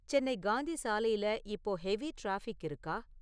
சென்னை காந்தி சாலையில இப்போ heavy traffic இருக்கா?